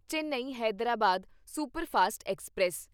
Chennai Hyderabad superfast express